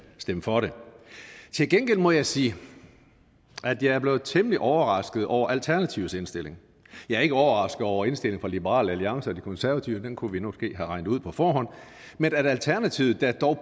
stemme for det til gengæld må jeg sige at jeg blev temmelig overrasket over alternativets indstilling jeg er ikke overrasket over indstillingen fra liberal alliance og de konservative den kunne vi måske have regnet ud på forhånd men at alternativet der dog